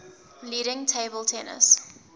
leading table tennis